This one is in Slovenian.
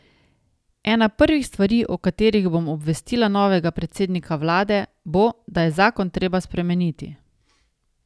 Ena prvih stvari, o katerih bom obvestila novega predsednika vlade, bo, da je zakon treba spremeniti.